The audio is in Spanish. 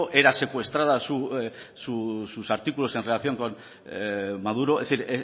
era secuestrada sus artículos en relación con maduro es decir